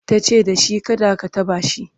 tace dashi kada ka taɓa shi!"